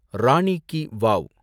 Rani ki wow